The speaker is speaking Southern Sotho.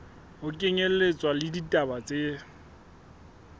ho kenyelletswa le ditaba tse